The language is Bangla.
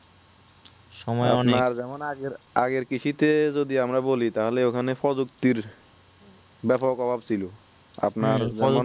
আপনার যেমন আগের আগের কৃষি তে যদি আমরা বলি তাহলে ওখানে প্রযুক্তির ব্যাপক অভাব সিলো আপনার